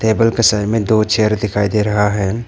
Table के side में दो चेयर दिखाई दे रहा है।